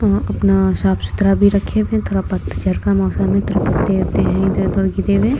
यहाँ अपना साफ़ सुथरा भी रखे हुए है। थोड़ा पतझड़ का मौसम है थोड़े पत्ते-उत्ते है इधर-उधर गिरे हुए।